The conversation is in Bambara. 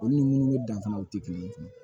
Olu ni munnu danfara u ti kelen